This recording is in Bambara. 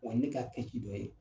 Wa ne ka kɛci dɔ ye